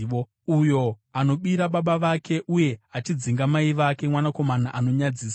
Uyo anobira baba vake uye achidzinga mai vake mwanakomana anonyadzisa.